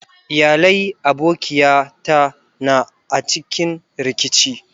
Iyalai abokiya ta na a cikin rikici.